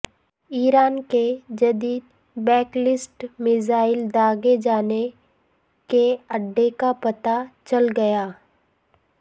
ایران کے جدید ballistic missile داغے جانے کے اڈے کا پتہ چل گیا